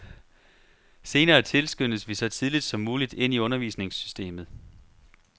Senere tilskyndes vi så tidligt som muligt ind i undervisningssystemet.